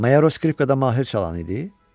Mayaro skripkada mahir çalan idi?